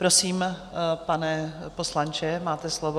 Prosím, pane poslanče, máte slovo.